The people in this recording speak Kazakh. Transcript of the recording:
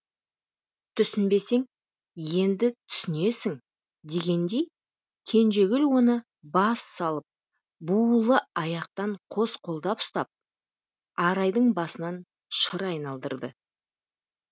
түсінбесең енді түсінесің дегендей кенжегүл оны бассалып буулы аяқтан қос қолдап ұстап арайдың басынан шыр айналдырды